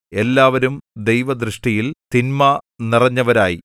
എല്ലാവരും ദൈവദൃഷ്ടിയിൽ തിന്മ നിറഞ്ഞവരായി